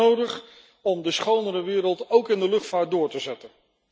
Dat is echt nodig om de schonere wereld, ook in de luchtvaart, door te zetten.